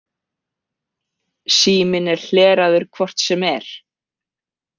Síminn er hleraður hvort sem er.